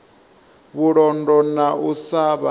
vhulondo na u sa vha